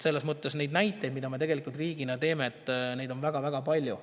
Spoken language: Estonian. Selles mõttes on näiteid, mida me riigina teeme, väga-väga palju.